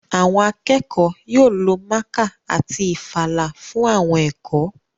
Àwọn akẹ́kọ̀ọ́ yóò lo mákà àti ìfalà fún àwọn ẹ̀kọ́